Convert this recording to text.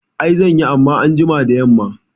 I zanyi amma anjima da yamma